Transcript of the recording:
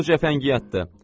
Bu cəfəngiyatdır.